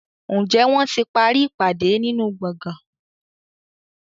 Njé wón tí parí ìpàdé nínú gboôgan?